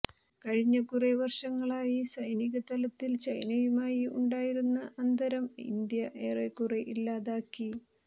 കഴിഞ്ഞ കുറെ വർഷങ്ങളായി സൈനിക തലത്തിൽ ചൈനയുമായി ഉണ്ടായിരുന്ന അന്തരം ഇന്ത്യ ഏറെക്കുറെ ഇല്ലാതാക്കി